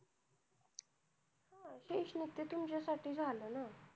शैक्षणिक ते तुमच्यासाठी झालं ना.